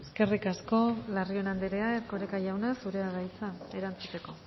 eskerrik asko larrion anderea erkoreka jauna zurea da hitza erantzuteko